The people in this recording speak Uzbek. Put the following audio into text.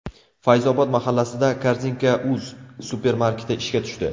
Fayzobod mahallasida Korzinka.uz supermarketi ishga tushdi.